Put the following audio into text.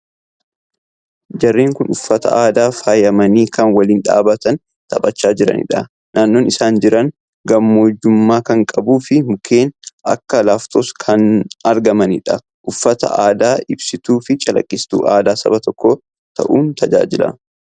Jarreen kun uffata aadaan faayamanii kan waliin dhaabbatanii taphachaa jiranidha. Naannoon isaan jiran gammoojjummaa kan qabuu fi mukeen akka Laaftoos kannargamanidha. Uffanni aadaa ibsituu fi calaqqisiistuu aadaa Saba tokkoo ta'uun tajaajila.